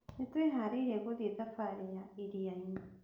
Nĩ twĩharĩirie guthiĩ thabarĩ ya iria-inĩ.